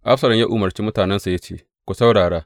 Absalom ya umarci mutanensa ya ce, Ku saurara!